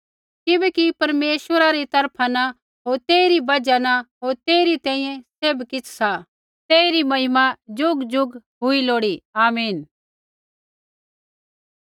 किबैकि परमेश्वरा री तरफा न होर तेइरी बजहा न होर तेइरी तैंईंयैं सैभ किछ़ सा तेइरी महिमा ज़ुगज़ुग हुई लोड़ी आमीन